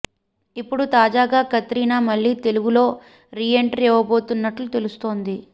ఇప్పుడు తాజాగా కత్రినా మళ్లీ తెలుగులో రీ ఎంట్రీ ఇవ్వబోతున్నట్టు తెలుస్తోంది